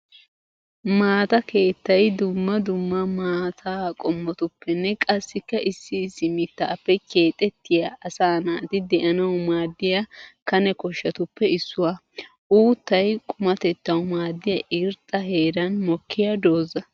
Maata keettay dumma dumma maataa qommotuppenne qassikka issi issi mittappe keexettiya asaa naati de'anawu maadiya kane koshatuppe issuwa. Uuttay qumatettawu maadiya irxxa heeran mokkiya dooza.